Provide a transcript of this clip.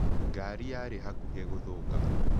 Ngari yarĩ hakuhĩ gũthũka.